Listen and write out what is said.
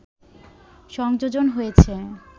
সংযোজন হয়েছে